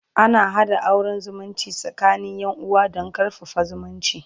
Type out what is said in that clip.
ana haɗa auran zumunci tsakanin Yan uwa Dan karfafa zumunci